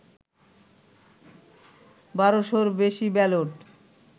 ১২শ’-র বেশি ব্যালট